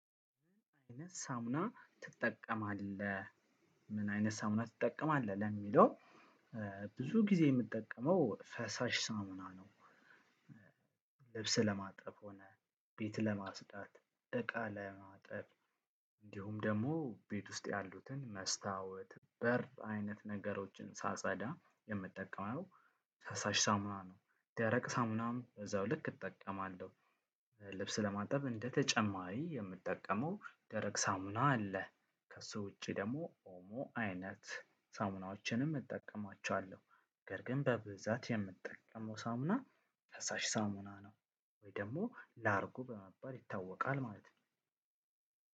"ምን አይነት ሳሙና ትጠቀማለህ? ምን አይነት ሳሙና ትጠቀማለህ?" ለሚለው ብዙ ጊዜ የምጠቀመው ፈሳሽ ሳሙና ነው። ልብስ ለማጠብ ሆነ፣ ቤት ለማጽዳት፣ እቃ ለማጠብ፣ እንዲሁም ደግሞ ቤት ውስጥ ያሉትን መስታወት፣ በር አይነት ነገሮችን ሳጸዳ የምጠቀመው ፈሳሽ ሳሙና ነው። ደረቅ ሳሙናም በዛው ልክ እጠቀማለሁ። ልብስ ለማጠብ እንደ ተጨማሪ የምጠቀመው ደረቅ ሳሙና አለ። ከሱ ውጪ ደግሞ ኦሞ አይነት ሳሙናዎችንም እጠቀማቸዋለሁ፤ ነገር ግን በብዛት የምጠቀመው ሳሙና ፈሳሽ ሳሙና ነው ወይ ደግሞ ላርጎ በመባል ይታወቃል ማለት ነው።